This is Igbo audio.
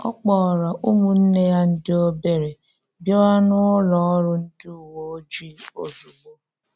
Ọ kpọọrò ụmụnne ya ndị obere bịàwa n’ụlọ ọrụ ndị uwe ojii ozugbo.